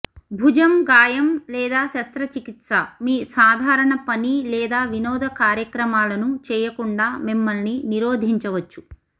భుజం గాయం లేదా శస్త్రచికిత్స మీ సాధారణ పని లేదా వినోద కార్యక్రమాలను చేయకుండా మిమ్మల్ని నిరోధించవచ్చు